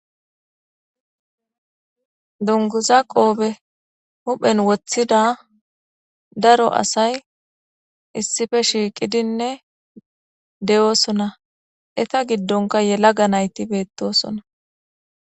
dunguza qoobe huphen woththida daro asay issippe shiiqidinne de7oosona eta giddonka yelaga nayti beettosona.